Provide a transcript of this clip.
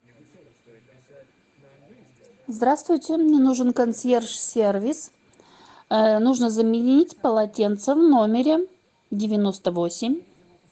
здравствуйте мне нужен консьерж сервис нужно заменить полотенца в номере девяносто восемь